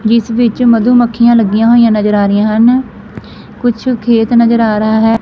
ਜਿਸ ਵਿੱਚ ਮਧੂ ਮੱਖੀਆਂ ਲੱਗੀਆਂ ਹੋਈਆਂ ਨਜ਼ਰ ਆ ਰਹੀਆਂ ਹਨ ਕੁਝ ਖੇਤ ਨਜ਼ਰ ਆ ਰਹਾ ਹੈ।